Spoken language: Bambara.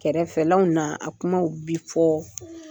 Kɛrɛfɛlanw na a kumaw bi fɔ.